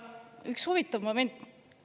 Üks huvitav moment veel.